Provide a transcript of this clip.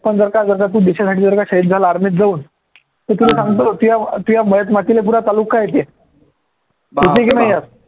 army त जाऊन तुझ्या मयत मातीले पुर तालुका येते